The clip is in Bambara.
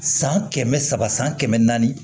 San kɛmɛ saba san kɛmɛ naani